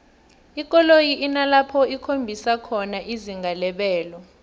ikoloyi inalapho ikhombisa khona izinga lebelo